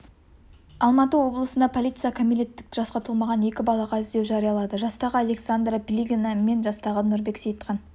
алматы облысында полиция кәмелеттік жасқа толмаған екі балаға іздеу жариялады жастағы александра плигина мен жастағы нұрбек сейітхан